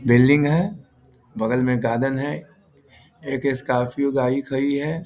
Building है बगल में गार्डन है एक स्कॉर्पियो गाड़ी खड़ी है।